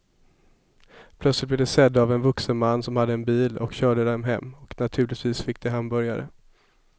Plötsligt blev de sedda av en vuxen man som hade en bil och körde dem hem och naturligtvis fick de hamburgare.